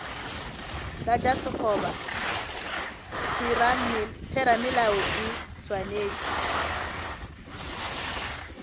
tlatša sekgoba theramelao e swanetše